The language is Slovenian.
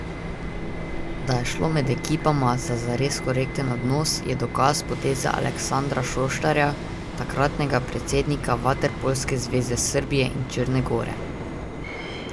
Da je šlo med ekipama za zares korekten odnos, je dokaz poteze Aleksandra Šoštarja, takratnega predsednika vaterpolske zveze Srbije in Črne gore.